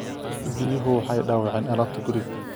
Biyuhu waxay dhaawaceen alaabta guriga